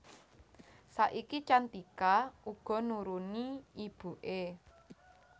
Saiki Cantika uga nuruni ibuké